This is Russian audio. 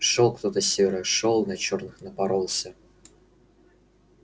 шёл кто-то с севера шёл на черных напоролся